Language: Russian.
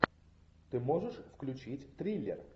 ты можешь включить триллер